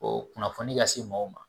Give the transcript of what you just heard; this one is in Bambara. kunnafoni ka se mɔgɔw ma